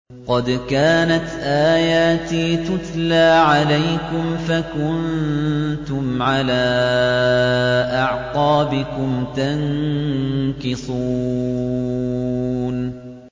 قَدْ كَانَتْ آيَاتِي تُتْلَىٰ عَلَيْكُمْ فَكُنتُمْ عَلَىٰ أَعْقَابِكُمْ تَنكِصُونَ